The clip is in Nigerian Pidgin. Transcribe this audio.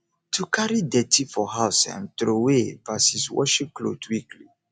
to carry dirty for house um trowey vs washing cloth weekly